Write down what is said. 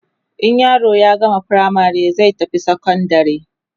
in yaro ya gama firamare zai tafi sekondari